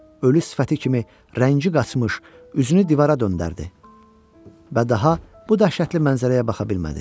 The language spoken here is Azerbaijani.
Ölü sifəti kimi rəngi qaçmış, üzünü divara döndərdi və daha bu dəhşətli mənzərəyə baxa bilmədi.